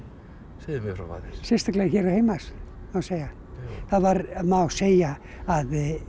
segðu mér frá aðeins sérstaklega hér heima má segja það má segja að